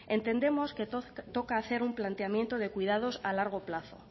entendemos que toca hacer un planteamiento de cuidados a largo plazo